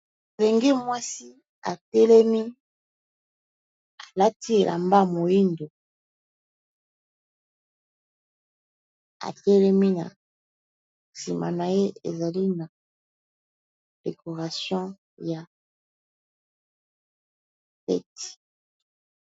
Elenge mwasi atelemi liboso ya esika basali decoration ya kitoko, aza makolo ngulu.